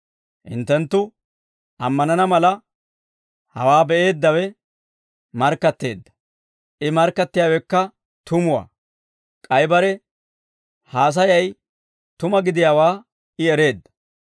Hinttenttu ammanana mala, hawaa be'eeddawe markkatteedda; I markkattiyaawekka tumuwaa; k'ay bare haasayay tuma gidiyaawaa I ereedda.